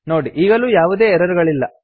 ನೋಡಿ ಈಗಲೂ ಯಾವುದೇ ಎರರ್ ಗಳಿಲ್ಲ